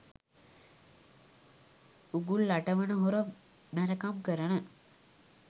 උගුල් අටවන හොර මැරකම් කරන.